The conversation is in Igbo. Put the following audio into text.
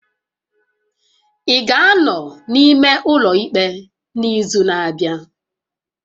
Ị ga-anọ n'ime ụlọ ikpe n'izu na-abịa?